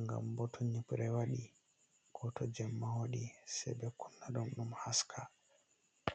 ngam bo to nyibre waɗi, ko to jemma waɗi se ɓe kunna dum ɗum haska.